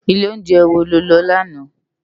Ilé óunjè wó ló lò làná?